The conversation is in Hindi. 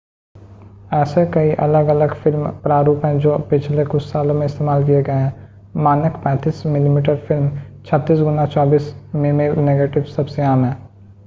ऐसे कई अलग-अलग फ़िल्म प्रारूप हैं जो पिछले कुछ सालों से इस्तेमाल किए गए हैं. मानक 35 मिमी फ़िल्म 36 गुणा 24 मिमी नेगेटिव सबसे आम है